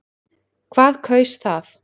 Hvað kaus það?